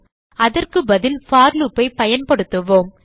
அதற்கு பதில் for loop ஐ பயன்படுத்துவோம்